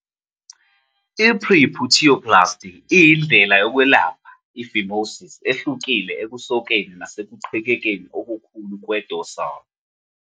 I-Preputioplasty iyindlela yokwelapha i-phimosis ehlukile ekusokeni nasekuqhekekeni okukhulu kwe-dorsal